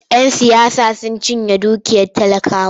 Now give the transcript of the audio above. Yan siyasa sun cinye dukiyar talakawa.